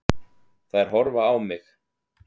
Þær horfa á mig.